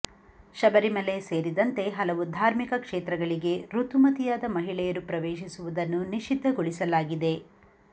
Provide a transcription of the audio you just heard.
ಶಬರಿಮಲೆ ಸೇರಿದಂತೆ ಹಲವು ಧಾರ್ಮಿಕ ಕ್ಷೇತ್ರಗಳಿಗೆ ಋತುಮತಿಯಾದ ಮಹಿಳೆಯರು ಪ್ರವೇಶಿಸುವುದನ್ನು ನಿಷಿದ್ಧಗೊಳಿಸಲಾಗಿದೆ